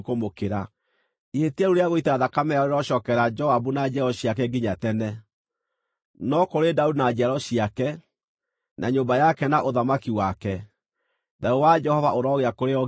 Ihĩtia rĩu rĩa gũita thakame yao rĩrocookerera Joabu na njiaro ciake nginya tene. No kũrĩ Daudi na njiaro ciake, na nyũmba yake na ũthamaki wake, thayũ wa Jehova ũrogĩa kũrĩ o nginya tene.”